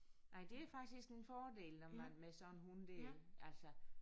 Nej det er faktisk en fordel når man med sådan en hund der altså